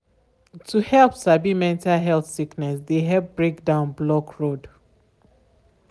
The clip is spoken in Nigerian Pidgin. to help sabi mental health sickness de help break dowm block road.